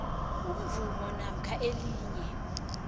imvumo namkha elinye